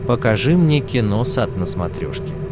покажи мне киносат на смотрешке